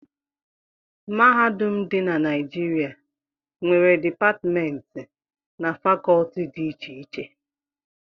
Mahadum dị na Naijiria nwere Dipatmentị na Fakọọti dị iche iche